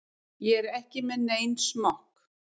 Ég er ekki með neinn smokk.